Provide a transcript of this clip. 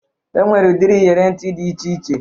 E nwere udiri iyere ntị dị iche iche